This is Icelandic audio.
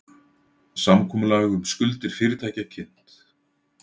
Samkomulag um skuldir fyrirtækja kynnt